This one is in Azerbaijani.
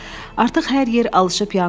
Artıq hər yer alışıb yanırdı.